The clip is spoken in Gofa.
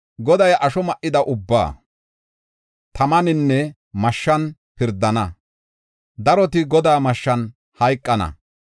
Goday asho ma7ida ubbaa tamaninne mashshan pirdana; daroti Godaa mashshan hayqana.